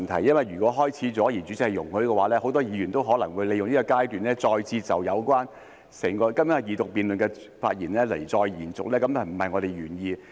因為如果開始了，而代理主席容許的話，很多議員也可能會利用這個階段，再次延續今天二讀辯論時的發言，這便不是我們的原意。